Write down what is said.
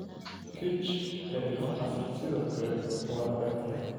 Kich ee ilmahaas sidoo kale waa adag tahay